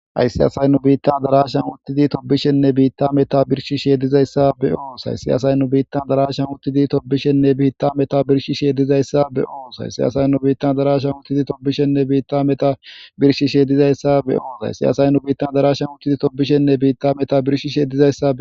Hayisa asay nu biittan darashan uttidi tobishenne biitta meta birshi sheeydizayssa be oos hayssiyasayn nu biittan darashan uttidi tobishenne biitta meta birshi sheedizayssa be oos hayssiyasayn nu biittan darashan uttidi tobishenne biitta meta birshi sheedizayssa be oos haysiyasayn nu biittan darashan uttidi tobishenne biitta meta birshi sheedizayssa